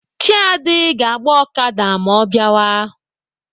Chiadi ga-agba Okada ma ọ biawa.